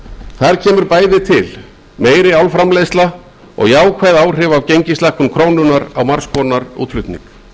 þar kemur bæði til meiri álframleiðsla og jákvæð áhrif af gengislækkun krónunnar á margs konar útflutning